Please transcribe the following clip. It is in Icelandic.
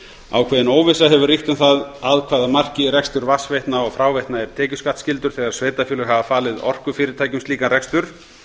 ákveðin óvissa hefur ríkt um það að hvaða marki rekstur vatnsveitna og fráveitna er tekjuskattsskyldur þegar sveitarfélög hafa falið orkufyrirtækjum slíkan rekstur